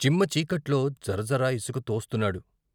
చిమ్మ చీకట్లో జరజర ఇసుక తోస్తున్నాడు.